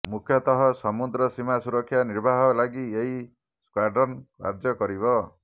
ମୁଖ୍ୟତଃ ସମୁଦ୍ର ସୀମା ସୁରକ୍ଷା ନିର୍ବାହ ଲାଗି ଏହି ସ୍କ୍ୱାଡ୍ରନ କାର୍ଯ୍ୟକରିବ